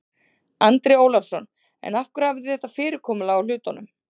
Andri Ólafsson: En af hverju hafið þið þetta fyrirkomulag á hlutunum?